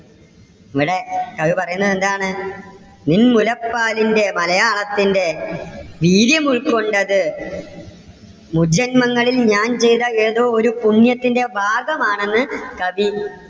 ഇവിടെ കവി പറയുന്നത് എന്താണ്? നിൻ മുലപ്പാലിന്റെ മലയാളത്തിന്റെ വീര്യം ഉൾക്കൊണ്ടത് മുജന്മങ്ങളിൽ ഞാൻ ചെയ്ത ഏതോ ഒരു പുണ്യത്തിന്റെ ഭാഗമാണെന്ന് കവി